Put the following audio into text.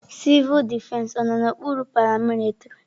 Civul defesi ọ nọ n'okpuru paramilitrị?